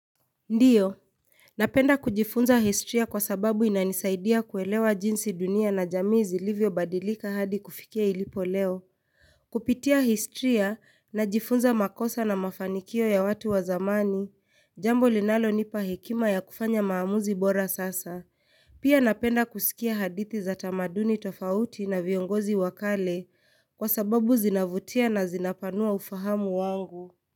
Ndiyo, Napenda kujifunza historia kwa sababu inanisaidia kuelewa jinsi dunia na jamii zilivyobadilika hadi kufikia ilipo leo. Kupitia historia najifunza makosa na mafanikio ya watu wa zamani, jambo linalonipa hekima ya kufanya maamuzi bora sasa. Pia napenda kuskia hadithi za tamaduni tofauti na viongozi wa kale kwa sababu zinavutia na zinapanua ufahamu wangu.